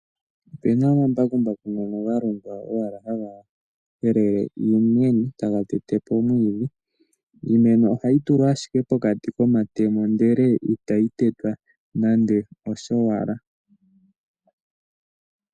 Opena omambukumbaku ngoka ga longwa owala haga helela iimeno, taga tetepo omwiidhi. Iimeno oha yi tulwa ashike pokati komatemo ndele ita yi tetwa nande oshowala.